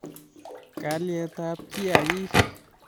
Kalyetab kiagik